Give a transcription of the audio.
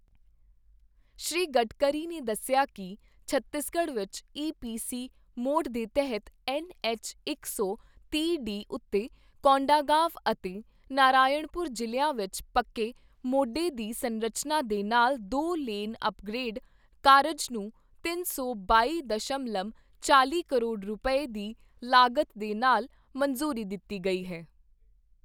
ਸ਼੍ਰੀ ਗਡਕਰੀ ਨੇ ਦੱਸਿਆ ਕਿ ਛੱਤੀਸਗੜ੍ਹ ਵਿੱਚ ਈ ਪੀ ਸੀ ਮੋਡ ਦੇ ਤਹਿਤ ਐੱਨ ਐੱਚ ਇਕ ਸੌ ਤੀਹ ਡੀ ਉੱਤੇ ਕੋਂਡਾਗਾਂਵ ਅਤੇ ਨਾਰਾਇਣਪੁਰ ਜ਼ਿਲ੍ਹਿਆਂ ਵਿੱਚ ਪੱਕੇ ਮੋਢੇ ਦੀ ਸੰਰਚਨਾ ਦੇ ਨਾਲ ਦੋ ਲੇਨ ਅੱਪਗਰੇਡ ਕਾਰਜ ਨੂੰ ਤਿੰਨ ਸੌ ਬਾਈ ਦਸ਼ਮਲਵ ਚਾਲ਼ੀ ਕਰੋੜ ਰੁਪਏ, ਦੀ ਲਾਗਤ ਦੇ ਨਾਲ ਮੰਜ਼ੂਰੀ ਦਿੱਤੀ ਗਈ ਹੈ।